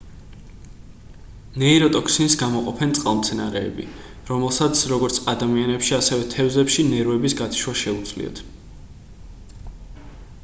ნეიროტოქსინს გამოყოფენ წყალმცენარეები რომელსაც როგორც ადამიანებში ასევე თევზებში ნერვების გათიშვა შეუძლია